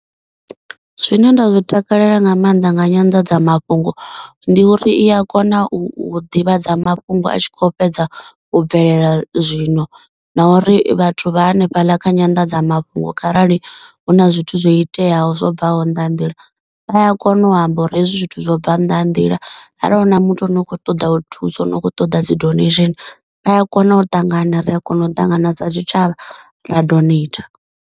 Zwine nda zwi takalela nga maanḓa nga nyanḓadzamafhungo ndi uri i a kona u ḓivhadza mafhungo a tshi kho fhedza u bvelela zwino. Na uri vhathu vha hanefhaḽa kha nyanḓadzamafhungo kharali hu na zwithu zwo iteaho zwo bvaho nnḓa ha nḓila vha a kona u amba uri hezwi zwithu zwo bva nnḓa ha nḓila. Arali hu na muthu ane u kho ṱoḓa u thusa ane u kho ṱoḓa dzi donation vhaya kona u ṱangana ri a kona u ṱangana sa tshitshavha ra donater.